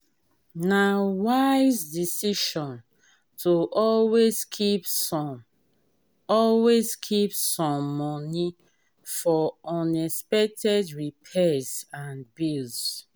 na wise decision to always keep some always keep some money for unexpected repairs and bills.